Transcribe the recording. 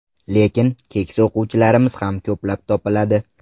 Lekin keksa o‘quvchilarmiz ham ko‘plab topiladi.